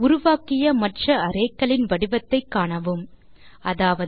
உருவாக்கிய மற்ற arrayக்களின் வடிவத்தை காணவும் அதாவது